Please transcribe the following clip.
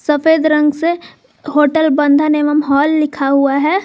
सफेद रंग से होटल बंधन एवं हॉल लिखा हुआ है।